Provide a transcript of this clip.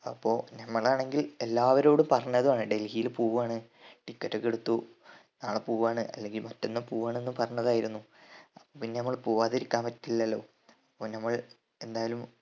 അപ്പോ ഞമ്മളാണെങ്കിൽ എല്ലാവരോടും പറഞ്ഞതാണ് ഡൽഹിയിൽ പോവാണ് ticket ക്കെ എടുത്തു നാളെ പോവാണ് അല്ലെങ്കിൽ മറ്റന്നാ പോവാണ് എന്ന് പറഞ്ഞതായിരുന്നു അപ്പോ പിന്നെ ഞമ്മള് പോവാതിരിക്കാൻ പറ്റില്ലല്ലോ അപ്പോ ഞമ്മൾ എന്തായാലും